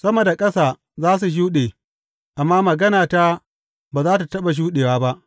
Sama da ƙasa za su shuɗe, amma maganata ba za tă taɓa shuɗe ba.